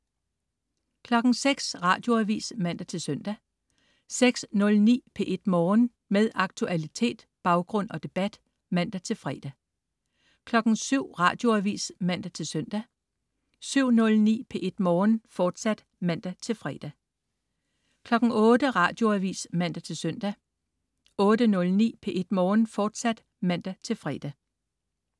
06.00 Radioavis (man-søn) 06.09 P1 Morgen. Med aktualitet, baggrund og debat (man-fre) 07.00 Radioavis (man-søn) 07.09 P1 Morgen, fortsat (man-fre) 08.00 Radioavis (man-søn) 08.09 P1 Morgen, fortsat (man-fre)